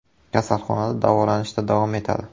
Kasalxonada davolanishda davom etadi.